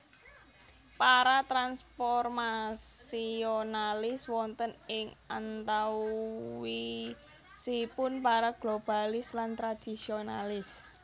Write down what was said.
Para transformasionalis wonten ing antawisipun para globalis lan tradisionalis